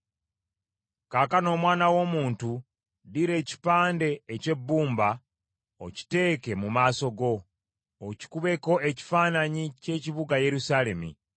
“Kaakano omwana w’omuntu, ddira ekipande eky’ebbumba okiteeke mu maaso go, okikubeko ekifaananyi ky’ekibuga Yerusaalemi,